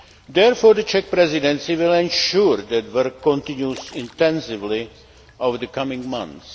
Therefore, the Czech Presidency will ensure that work continues intensively over the coming months.